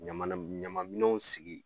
Ɲama na ɲama minɛnw sigi